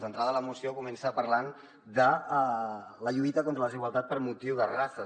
d’entrada la moció comença parlant de la lluita contra la desigualtat per motiu de races